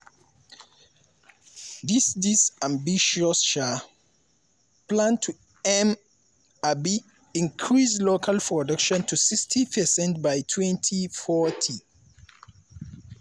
dis dis ambitious um plan aim to um increase local production to 60 percent by 2040.